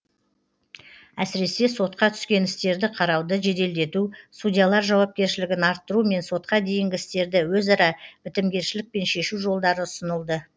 әсіресе сотқа түскен істерді қарауды жеделдету судьялар жауапкершілігін арттыру мен сотқа дейінгі істерді өзара бітімгершілікпен шешу жолдары ұсынылды